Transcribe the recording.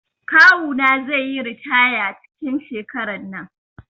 Kawu na zai yi ritaya cikin shekaran nan.